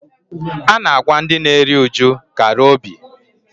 A na-agwa ndị na-eri uju "kara obi"